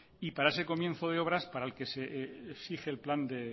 y para ese comienzo de obras para el que se exige el plan de